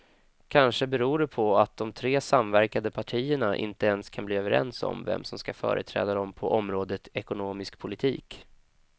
Kanske beror det på att de tre samverkande partierna inte ens kan bli överens om vem som ska företräda dem på området ekonomisk politik.